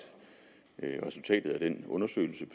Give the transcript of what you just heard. et resultatet af den undersøgelse